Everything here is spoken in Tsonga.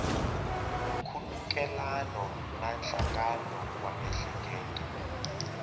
nkhulukelano na nhlangano wa miehleketo